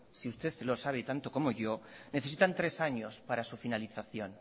si usted lo sabe tanto como yo necesitan tres años para su finalización